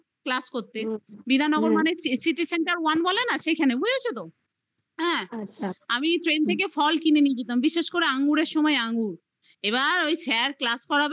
class করতে বিধাননগর বলতে city-center one বলে না সেখানে বুঝেছ তো? আমি train -এ থেকে ফল কিনে নিয়ে যেতাম বিশেষ করে আঙ্গুরের সময় আঙ্গুর এবার ওই sir class করবে